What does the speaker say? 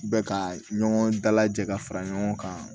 Bɛ ka ɲɔgɔn dalajɛ ka fara ɲɔgɔn kan